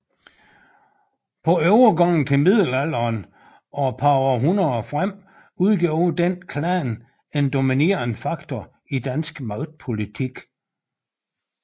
På overgangen til middelalderen og et par århundreder frem udgjorde denne klan en dominerende faktor i dansk magtpolitik